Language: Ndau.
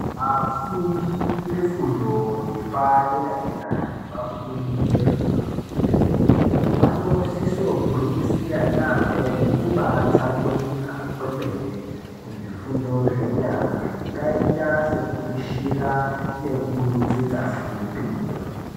Vafundi vefundo yepadera dera nevafundi vefundo yechipiri vanosiso gwinyisira yaamho nekubaatsamwirira kwemene kuzvifundo zvenyara zvakaita sekupishira nekutsetsa simbi.